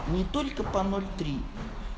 не только по ноль три